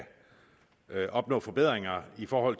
opnå forbedringer for